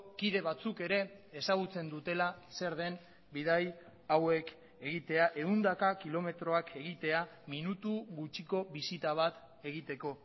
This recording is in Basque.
kide batzuk ere ezagutzen dutela zer den bidai hauek egitea ehundaka kilometroak egitea minutu gutxiko bisita bat egiteko